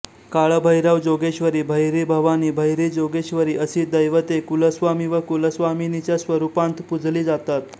काळभैरवजोगेश्वरी भैरीभवानी भैरीजोगेश्वरी अशी दैवते कुलस्वामी व कुलस्वामिनीच्या स्वरूपांत पूजली जातात